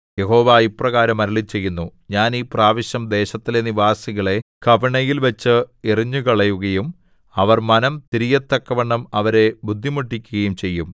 യഹോവ ഇപ്രകാരം അരുളിച്ചെയ്യുന്നു ഞാൻ ഈ പ്രാവശ്യം ദേശത്തിലെ നിവാസികളെ കവിണയിൽ വച്ച് എറിഞ്ഞുകളയുകയും അവർ മനം തിരിയത്തക്കവണ്ണം അവരെ ബുദ്ധിമുട്ടിക്കുകയും ചെയ്യും